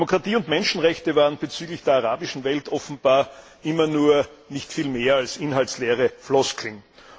Demokratie und Menschenrechte waren bezüglich der arabischen Welt offenbar nie viel mehr als inhaltsleere Floskeln.